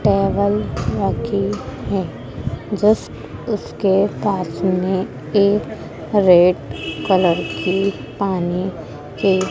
Towel रखी है। Just उसके पास मे एक रेड कलर की पानी के--